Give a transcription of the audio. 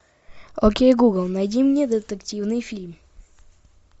окей гугл найди мне детективный фильм